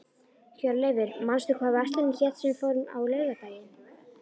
Hjörleifur, manstu hvað verslunin hét sem við fórum í á laugardaginn?